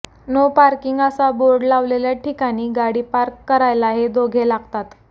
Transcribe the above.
no parking असा board लावलेल्या ठिकाणी गाडी पार्क करायला हे दोघे लागतात